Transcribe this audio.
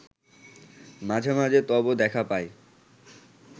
মাঝে মাঝে তব দেখা পাই